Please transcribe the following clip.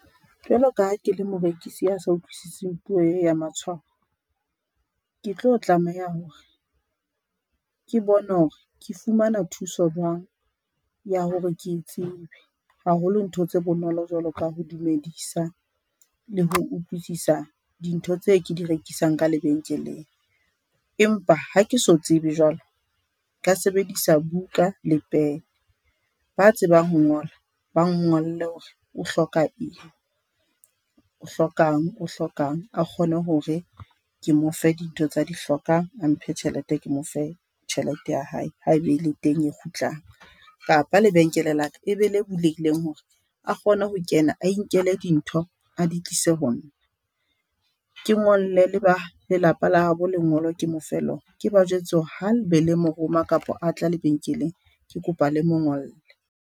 Jwalo ka ha ke le morekisi a sa utlwisiseng puwo e ya matshwao, ke tlo tlameha ho re ke bone hore ke fumana thuso jwang ya hore ke e tsebe, haholo ntho tse bonolo jwalo ka ho dumedisa le ho utlwisisa dintho tse ke di rekisang ka lebenkeleng. Empa ha ke so tsebe jwalo, nka sebedisa buka le pen ba tsebang ho ngola, ba ngolle hore o hloka eng o hlokang o hlokang, a kgone hore ke mo fe dintho tsa di hlokang a mphe tjhelete ke mo fe tjhelete ya hae ha e be le teng e kgutlang, kapa lebenkele la ka e be le bulehileng hore a kgone ho kena a inkele dintho a di tlise ho nna. Ke ngolle le ba lelapa la bo lengolo ke mo fe lona ke ba jwetse hore ha e be le mo roma kapa a tla lebenkeleng, ke kopa le mo ngolle.